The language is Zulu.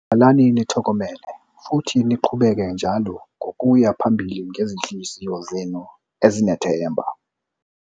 Hlalani nithokomele futhi niqhubeke njalo nokuya phambili ngezinhliziyo zenu ezinethemba.